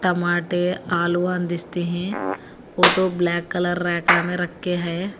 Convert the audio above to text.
टोमाटर आलूवान दिसते हैं वो तो ब्लैक कलर रैका में रखे है।